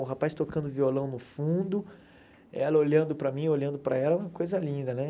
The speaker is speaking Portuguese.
O rapaz tocando violão no fundo, ela olhando para mim, eu olhando para ela, é uma coisa linda, né?